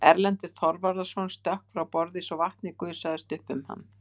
Erlendur Þorvarðarson stökk frá borði svo vatnið gusaðist upp um hann.